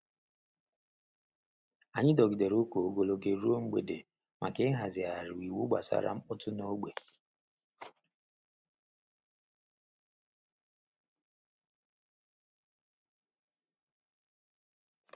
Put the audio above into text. Anyị dọgidere ụka ogologo oge ruo mgbede maka ịhazigharị iwu gbasara mkpọtụ n’ógbè.